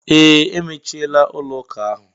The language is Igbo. Ee, emechiela ụlọ ụka ahụ.